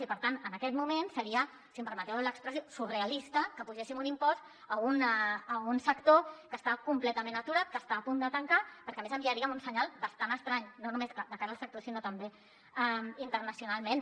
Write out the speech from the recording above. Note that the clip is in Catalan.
i per tant en aquest moment seria si em permeteu l’expressió surrealista que apugéssim un impost a un sector que està completament aturat que està a punt de tancar perquè a més enviaríem un senyal bastant estrany no només de cara al sector sinó també internacionalment